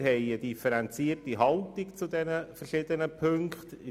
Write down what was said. Wir nehmen eine differenzierte Haltung zu diesen Ziffern ein: